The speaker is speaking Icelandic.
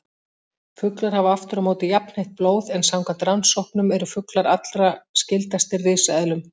Fuglar hafa aftur á móti jafnheitt blóð, en samkvæmt rannsóknum eru fuglar allra skyldastir risaeðlum.